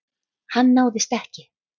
Hann náðist ekki.